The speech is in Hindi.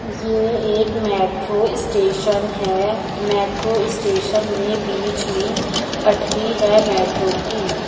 ये एक मेट्रो स्टेशन है मेट्रो स्टेशन में बीच में पठरी है मेट्रो की।